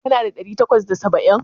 Kana da ɗari takwas da saba'in?